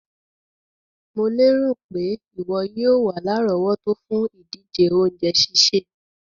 Mo lérò pé ìwo yio wa lárọ̀wọ́tó fùn ìdíje ounje sísè